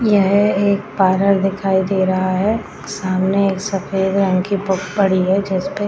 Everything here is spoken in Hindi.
यह एक पार्लर दिखाई दे रहा है सामने एक सफेद रंग की बुक पड़ी है जिसपे --